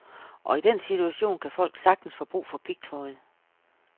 Og i den situation kan folk sagtens få brug for pigtråd.